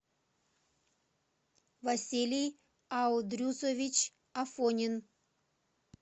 василий аудрюсович афонин